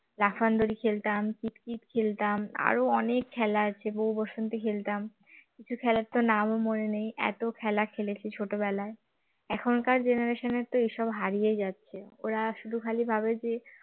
লাফান দড়ি খেলতাম কিৎকিৎ খেলতাম আরো অনেক খেলা আছে বউ বসন্তী খেলতাম কিছু খেলার তো নামও মনে নেই এত খেলা খেলেছি ছোটবেলায় এখনকার generation এর এইসব হারিয়ে যাচ্ছে ওরা শুধু খালি ভাবে যে